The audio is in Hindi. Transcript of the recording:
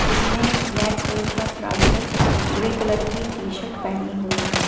जिसने ब्लैक कलर का ट्राउजर ग्रे कलर की टी शर्ट पहनी हुई है।